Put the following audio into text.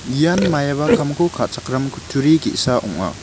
ian maiaba kamko ka·chakram kutturi ge·sa ong·a.